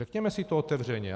Řekněme si to otevřeně.